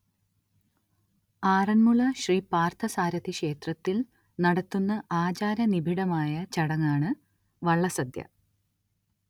ആറന്മുള ശ്രീ പാർത്ഥസാരഥിക്ഷേത്രത്തിൽ നടത്തുന്ന ആചാരനിബിഡമായ ചടങ്ങാണ് വള്ളസദ്യ